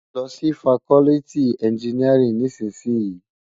Lò si fákòlìtí ènjìníárìn nìsísìyín